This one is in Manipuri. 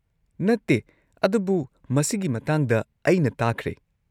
ꯅꯠꯇꯦ, ꯑꯗꯨꯕꯨ ꯃꯁꯤꯒꯤ ꯃꯇꯥꯡꯗ ꯑꯩꯅ ꯇꯥꯈ꯭ꯔꯦ꯫